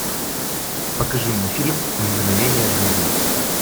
покажи мне фильм мгновения жизни